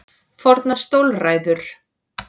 Fornar stólræður.